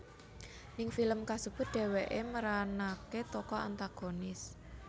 Ning film kasebut dheweké meranaké tokoh antagonis